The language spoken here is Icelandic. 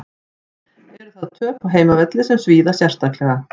Eru þar töp á heimavelli sem svíða sérstaklega.